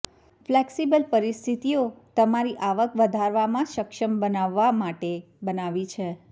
flexible પરિસ્થિતિઓ તમારી આવક વધારવામાં સક્ષમ બનાવવા માટે બનાવી છે